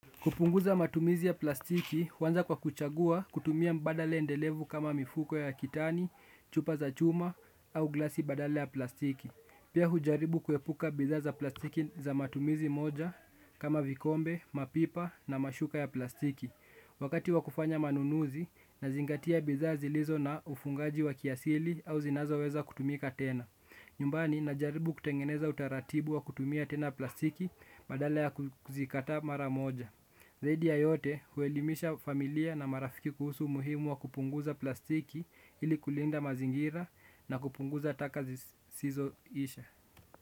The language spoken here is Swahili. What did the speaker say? Kupunguza matumizi ya plastiki, huanza kwa kuchagua kutumia mbadala endelevu kama mifuko ya kitani, chupa za chuma au glasi badala ya plastiki. Pia hujaribu kuepuka bidhaa za plastiki za matumizi moja kama vikombe, mapipa na mashuka ya plastiki. Wakati wa kufanya manunuzi, nazingatia bidhaa zilizo na ufungaji wa kiasili au zinazoweza kutumika tena. Nyumbani najaribu kutengeneza utaratibu wa kutumia tena plastiki badala ya kuzikataa mara moja. Zaidi ya yote huelimisha familia na marafiki kuhusu umuhimu wa kupunguza plastiki ili kulinda mazingira na kupunguza taka zisizoisha.